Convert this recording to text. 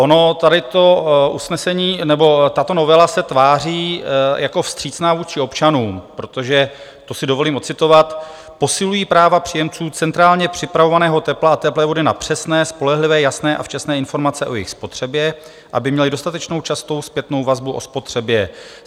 Ono tady to usnesení nebo tato novela se tváří jako vstřícná vůči občanům, protože - to si dovolím ocitovat - "posilují práva příjemců centrálně připravovaného tepla a teplé vody na přesné, spolehlivé, jasné a včasné informace o jejich spotřebě, aby měli dostatečnou častou zpětnou vazbu o spotřebě.